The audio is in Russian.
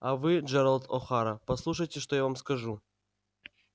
а вы джералд охара послушайте что я вам скажу